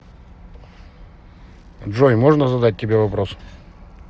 джой можно задать тебе вопрос